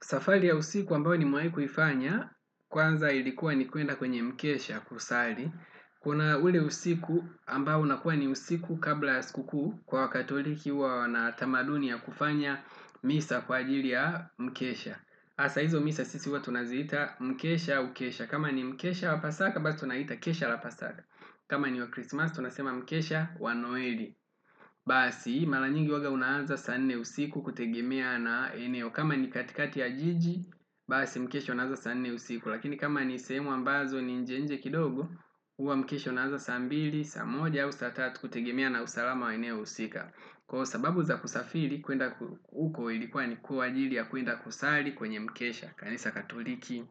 Safari ya usiku ambayo nimewahi kufanya, kwanza ilikuwa ni kwenda kwenye mkesha kusali. Kuna ule usiku ambao unakuwa ni usiku kabla ya siku kuu. Wakatoliki huwa wana tamaduni ya kufanya misa kwa ajili ya mkesha. Sasa hizo misa sisi huwa tunaziita mkesha au kesha kama ni mkesha wa Pasaka, basi tunaita kesha la Pasaka. Kama ni wa Christmas, tunasema mkesha wa Noeli. Basi mara nyingi huwa unaanza saa nne usiku kutegemea na eneo. Kama ni katikati ya jiji basi mkesho unaanza saa nne usiku. Lakini kama ni sehemu ambazo ni nje nje kidogo huwa mkesho unaanza saa mbili, saa moja ua saa tatu kutegemea na usalama wa eneo husika, kwa sababu za kusafiri kwenda huko ili kuwa ni kwa ajili ya kwenda kusali kwenye mkesha kanisa Katoliki.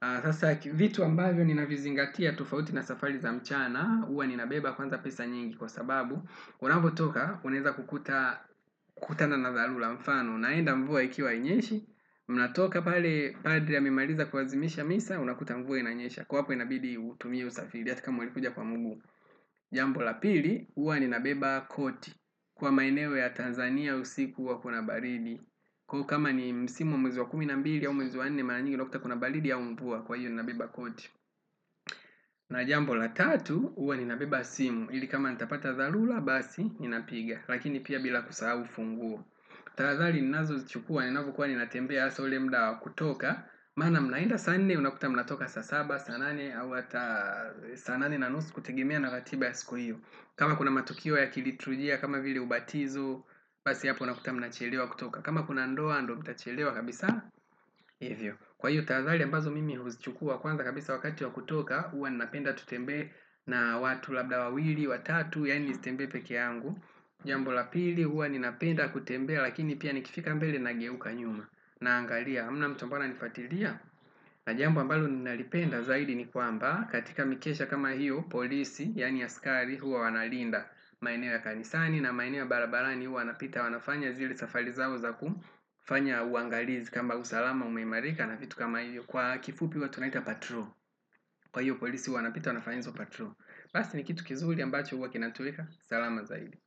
Sasa vitu ambavyo ninavizingatia tofauti na safari za mchana huwa ninabeba kwanza pesa nyingi, kwa sababu, unapotoka, unaweza kukutana na dharura kwa mfano. Unaenda mvua ikiwa hainyeshi, unatoka pale padri amemaliza kuadhimisha misa, unakuta mvua inanyesha. Kwa hapa inabidi utumie usafiri, hata kama ulikuja kwa miguu. Jambo la pili, huwa ninabeba koti. Kwa maeneo ya Tanzania usiku huwa kuna baridi. Kwa hiyo kama ni msimu wa mwezi wa kumi na mbili au mwezi wa nne mara nyingi unakuta kuna baridi au mvua kwa hiyo ninabeba koti. Na jambo la tatu, huwa ninabeba simu. Ili kama nitapata dharura basi, ninapiga lakini pia bila kusahau ufunguo. Tahadhari ninazozichukua, ninapokuwa ninatembea hasa ule muda wa kutoka maana mnaenda saa nne, unakuta mnatoka saa saba, saa nane au hata, saa nane na nusu kutegemea na ratiba ya siku hiyo, kama kuna matukio ya kiliturujia, kama vile ubatizo basi hapo unakuta mnachelewa kutoka. Kama kuna ndoa, ndiyo mtachelewa kabisa. Kwa hiyo, tahadhari ambazo mimi huzichukua, kwanza kabisa wakati wa kutoka, huwa ninapenda tutembee na watu labda wawili, watatu yaani nisitembee peke yangu jambo la pili huwa ninapenda kutembea lakini pia nikifika mbele nageuka nyuma naangalia, hamna mtu ambaye ananifuatilia na jambo ambalo ninalipenda zaidi ni kwamba, katika mikesha kama hiyo polisi, yaani askari huwa wanalinda maeneo ya kanisani. Na maeneo ya barabarani huwa napitia wanafanya zile safari zao za kufanya uangalizi kwamba usalama umeimarika na kitu kama hiyo kwa kifupi huwa tunaita patrol. Kwa hiyo polisi huwa wanapita wanafanya hizo patrol. Basi ni kitu kizuri ambacho huwa kinatuweka salama zaidi.